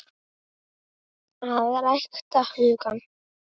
AÐ RÆKTA HUGANN